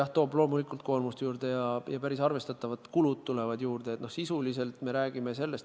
Jah, loomulikult toob see koormust juurde ja ka päris arvestatavaid kulusid tuleb juurde.